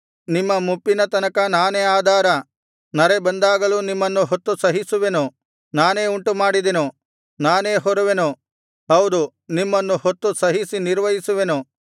ನಿಮ್ಮ ಮುಪ್ಪಿನ ತನಕ ನಾನೇ ಆಧಾರ ನರೆ ಬಂದಾಗಲೂ ನಿಮ್ಮನ್ನು ಹೊತ್ತು ಸಹಿಸುವೆನು ನಾನೇ ಉಂಟುಮಾಡಿದೆನು ನಾನೇ ಹೊರುವೆನು ಹೌದು ನಿಮ್ಮನ್ನು ಹೊತ್ತು ಸಹಿಸಿ ನಿರ್ವಹಿಸುವೆನು